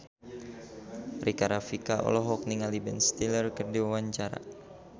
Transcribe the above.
Rika Rafika olohok ningali Ben Stiller keur diwawancara